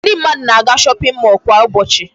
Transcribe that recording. Ndị mmadụ na-aga shopping mall kwa ụbọchị.